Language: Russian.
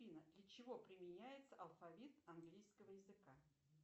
афина для чего применяется алфавит английского языка